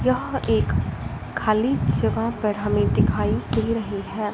यहां एक खाली जगह पर हमें दिखाई दे रही है।